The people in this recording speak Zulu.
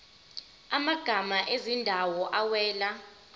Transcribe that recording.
amagama ezindawo awela